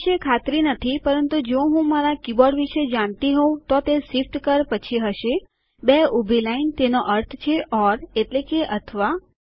આ વિશે ખાતરી નથી પરંતુ જો હું મારા કીબોર્ડ વિશે જાણતી હોઉં તો તે શિફ્ટ કી પછી હશે બે ઉભી લાઇન તેનો અર્થ છે ઓર એટલે કે અથવા